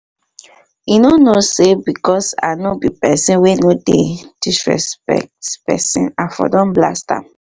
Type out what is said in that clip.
he no know say because i no be person wey no dey disrespect person i for don blast am